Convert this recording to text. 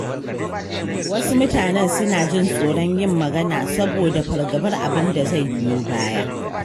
Wasu mutanen suna jin tsoron yin magana saboda fargabar abin da zai biyo baya.